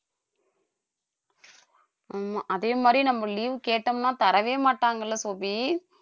ஆமா அதே மாதிரி நம்ம leave கேட்டோம்ன்னா தரவே மாட்டாங்கல்ல சோபி